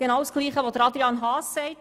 Genau dasselbe hat Grossrat Haas gesagt;